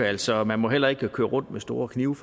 altså man må heller ikke køre rundt med store knive